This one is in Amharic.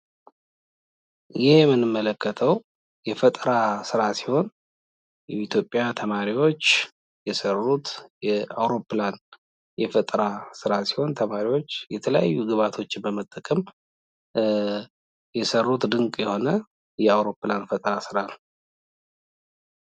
ይህ የምንመለከተው የፈጠራ ስራ ተማሪዎች የሰሩት አውርፕላን የፈጠራ ስራ ነው ።ተማርዎች የተለያዩ ግብአቶችን በመጠቀም የሰሩት አውርፕላን የፈጠራ ስራ ነው።